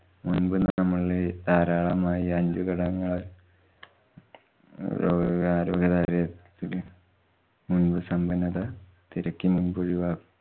മുമ്പ് നമ്മളില്‍ ധാരാളമായി ഈ അഞ്ചു ഘടകങ്ങള്‍ മുന്‍പ് സമ്പന്നത തിരക്കി മുന്‍പൊഴി